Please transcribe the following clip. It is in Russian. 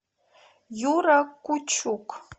юра кучук